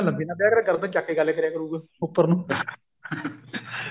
ਲੰਬੀ ਨਾਲ ਵਿਆਹ ਗਰਦਨ ਚੱਕ ਕੇ ਗੱਲ ਕਰਿਆ ਕਰੁਗਾ ਉੱਪਰ ਨੂੰ